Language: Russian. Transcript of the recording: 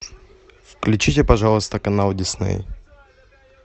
включите пожалуйста канал дисней